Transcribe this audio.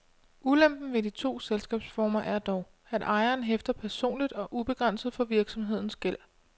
Ulempen ved de to selskabsformer er dog, at ejeren hæfter personligt og ubegrænset for virksomhedens gæld.